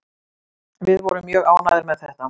Við vorum mjög ánægðir með þetta